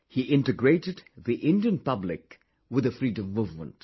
He integrated the Indian public with the Freedom Movement